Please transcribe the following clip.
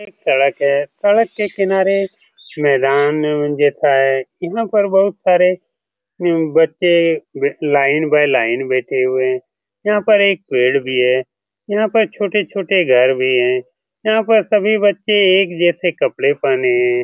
एक सड़क है। सड़क के किनारे मैदान जैसा है। यहाँ पर बहुत सारे बच्चे लाइन बाय लाइन बैठे हैं। यहाँ पर एक पेड़ भी है। यहाँ पर छोटे-छोटे घर भी है। यहाँ पर सभी बच्चे एक जैसे कपड़े पहने हैं।